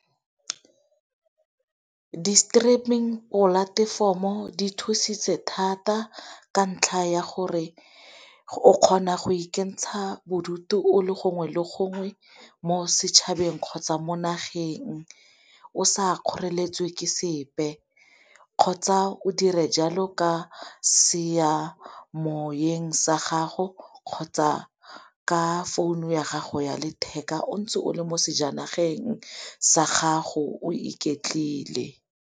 Di-streaming polatefomo di thusitse thata ka ntlha ya gore o kgona go ikentsha bodutu o le gongwe le gongwe mo setšhabeng kgotsa mo nageng, o sa kgoreletswe ke sepe kgotsa o dire jalo ka seyamoyeng sa gago kgotsa ka founu ya gago ya letheka o ntse o le mo sejanageng sa gago o iketlile.